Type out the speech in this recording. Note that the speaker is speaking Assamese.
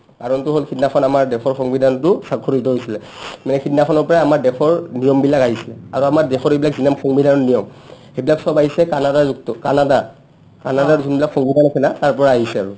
কাৰণটো হ'ল সিদিনাখন আমাৰ দেশৰ সংবিধানটো স্ৱাক্ষৰিত হৈছিলে সিদিনাখন পৰাইয়ে আমাৰ দেশৰ নিয়মবিলাক আহিছিলে আৰু আমাৰ দেশৰ এইবিলাক যিমান সংবিধানৰ নিয়ম সেইবিলাক চব আহিছে কানাডাযুক্ত কানাডাত কানাডাৰ যোনবিলাক সংবিধান আছিলে তাৰ পৰা আহিছে আৰু